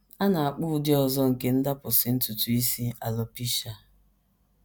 A na - akpọ ụdị ọzọ nke ndapụsị ntutu isi alopecia.